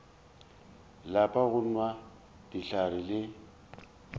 lape go nwa dihlare le